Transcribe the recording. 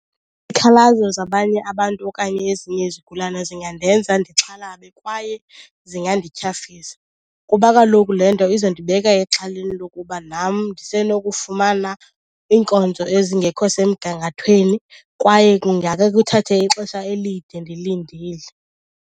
zabanye abantu okanye ezinye izigulana zingandenza ndixhalabe kwaye zingandityhafisa. Kuba kaloku le nto izondibeka exhaleni lokuba nam ndisenokufumana iinkonzo ezingekho semgangathweni kwaye kungakhe kuthathe ixesha elide ndilindile.